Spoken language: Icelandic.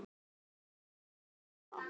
Hvílík firra.